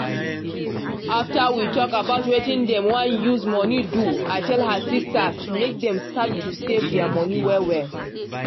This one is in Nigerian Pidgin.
after we talk about wetin dem wan use monie do i tell her sistas make dem start to save dia monie well well.